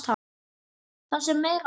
Það sem meira er.